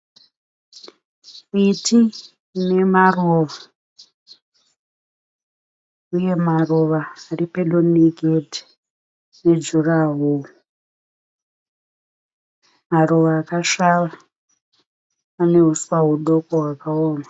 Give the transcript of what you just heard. Miti ine maruva. Uye maruva ari pedo negedhi ne juraworo. Maruva akasvava, pane huswa hudoko hwakaoma.